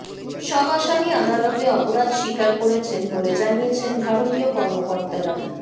সব আসামি আদালতে অপরাধ স্বীকার করেছেন বলে জানিয়েছেন ভারতীয় কর্মকর্তারা